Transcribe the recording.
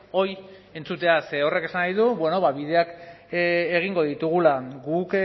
hori entzutea ze horrek esan nahi du bideak egingo ditugula guk